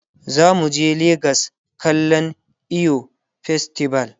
zamu je legas kallan eyo festival